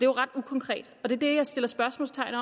ret ukonkret og det er det jeg sætter spørgsmålstegn